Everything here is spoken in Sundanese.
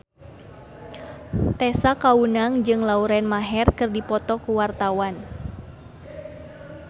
Tessa Kaunang jeung Lauren Maher keur dipoto ku wartawan